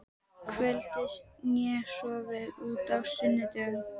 kvöldi né sofið út á sunnudögum.